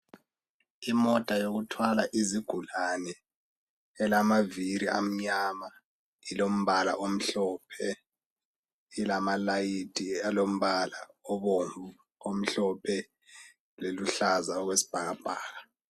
Imota yokuthwala izigulane elamaviri amnyama ilombala omhlophe ilama layithi alombala obomvu omhlophe loluhlaza okwesibhakabhaka